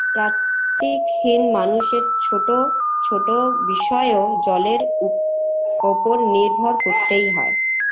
প্রাকতিক হীন মানুষের ছোটো ছোটো বিষয়ও জলের উপ ওপর নির্ভর করতেই হয়